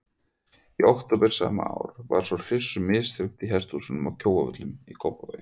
Í október sama ár var svo hryssu misþyrmt í hesthúsum að Kjóavöllum í Kópavogi.